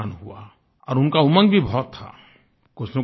और उनका उमंग भी बहुत था कुछनकुछ करना था